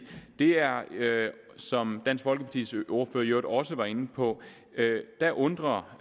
er som dansk folkepartis ordfører jo også var inde på at det undrer